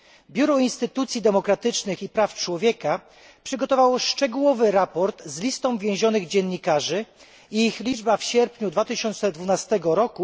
Biuro Instytucji Demokratycznych i Praw Człowieka przygotowało szczegółowy raport z listą więzionych dziennikarzy w sierpniu 2012 r.